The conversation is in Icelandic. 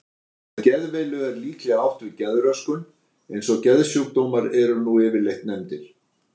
Með geðveilu er líklega átt við geðröskun eins og geðsjúkdómar eru nú yfirleitt nefndir.